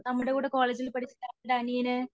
നമ്മുടെ കൂടെ കോളേജിൽ പഠിച്ച അവൻറെ അനിയന്